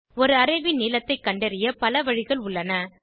ஒரு அரே ன் நீளத்தை கண்டறிய பல வழிகள் உள்ளன